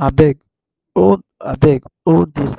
no be dat book dey say